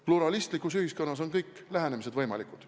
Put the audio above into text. Pluralistlikus ühiskonnas on kõik lähenemised võimalikud.